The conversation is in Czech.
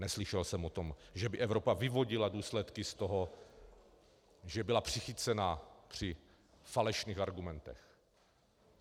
Neslyšel jsem o tom, že by Evropa vyvodila důsledky z toho, že byla přichycena při falešných argumentech.